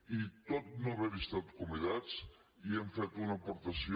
i tot i no haver hi estat convidats hi hem fet una aportació